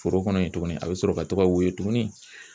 Foro kɔnɔ yen tuguni a bɛ sɔrɔ ka to ka woyo tuguni